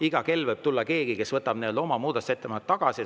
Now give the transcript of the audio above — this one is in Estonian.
Iga kell võib tulla keegi, kes võtab oma muudatusettepaneku tagasi.